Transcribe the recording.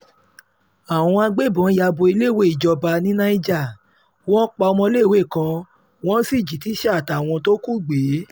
àwọn agbébọn ya bo iléèwé ìjọba ní niger wọ́n pa ọmọléèwé kan wọ́n sì jí tíṣà àtàwọn tó kù gbé